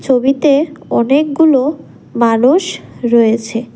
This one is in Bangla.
ছবিতে অনেকগুলো মানুষ রয়েছে।